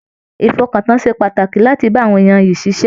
Ìfọkàntán ṣe pàtàkì láti bá àwọn èèyàn ìyí ṣiṣẹ.